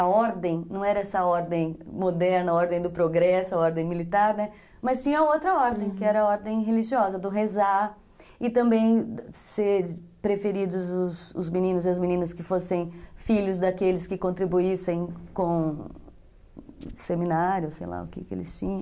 A ordem não era essa ordem moderna, a ordem do progresso, a ordem militar, né, mas tinha outra ordem, que era a ordem religiosa, do rezar e também ser preferidos os os meninos e as meninas que fossem filhos daqueles que contribuíssem com seminários, sei lá o que eles tinham.